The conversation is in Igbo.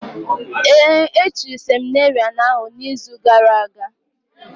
Ee, e chiri seminarị ahụ n’izu gara aga.